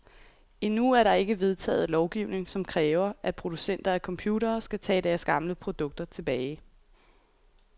Endnu er der ikke vedtaget lovgivning, som kræver, at producenter af computere skal tage deres gamle produkter tilbage.